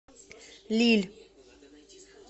лилль